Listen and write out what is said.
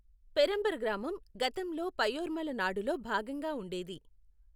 పెరంబ్ర గ్రామం గతంలో పయ్యోర్మల నాడులో భాగంగా ఉండేది.